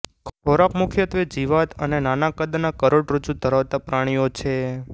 ખોરાક મુખ્યત્વે જીવાત અને નાના કદના કરોડરજ્જુ ધરાવતા પ્રાણીઓ છે